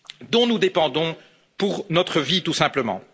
nature dont nous dépendons pour notre vie tout simplement.